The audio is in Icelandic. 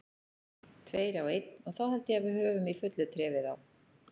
Tveir á einn og þá held ég við höfum í fullu tré við þá.